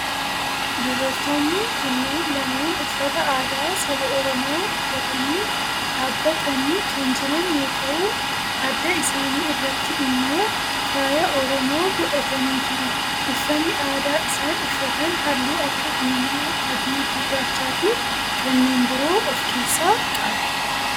Dubartoonni kunneen lameen uffata aadaa saba oromoo uffatanii dhaabbatanii kan jiran yoo ta'u adda isaanii irratti immoo faaya oromoo godhatanii jiru. uffanni aadaa isaan uffatan halluu akka diimaa, adii, gurraachaa fi kanneen biroo of keessaa qaba.